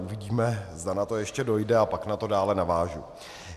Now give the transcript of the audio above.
Uvidíme, zda na to ještě dojde, a pak na to dále navážu.